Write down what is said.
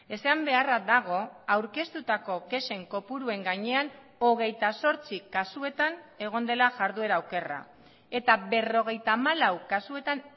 esan beharra dago aurkeztutako kexen kopuruen gainean hogeita zortzi kasuetan egon dela jarduera okerra eta berrogeita hamalau kasuetan